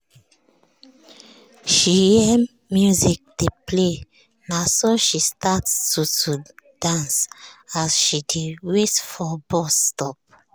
she hear music dey play naso she start to to dance as she dey wait for bus stop.